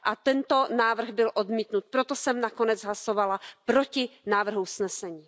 A tento návrh byl odmítnut, proto jsem nakonec hlasovala proti návrhu usnesení.